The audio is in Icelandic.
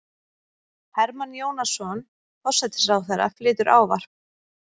Hermann Jónasson, forsætisráðherra, flytur ávarp.